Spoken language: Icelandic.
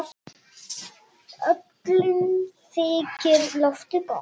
Öllum þykir lofið gott.